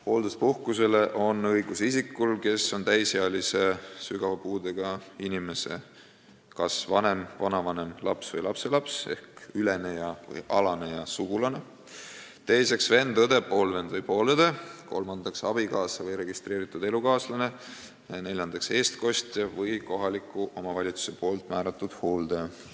Hoolduspuhkust saada on õigus isikul, kes on täisealise sügava puudega inimese, esiteks, kas vanem, vanavanem, laps või lapselaps ehk üleneja või alaneja sugulane; teiseks, vend, õde, poolvend või poolõde; kolmandaks, abikaasa või registreeritud elukaaslane; neljandaks, eestkostja või kohaliku omavalitsuse määratud hooldaja.